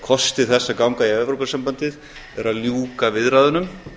kosti þess að ganga í evrópusambandið er að ljúka viðræðunum